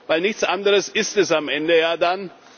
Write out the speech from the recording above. Denn nichts anderes ist es am Ende ja dann.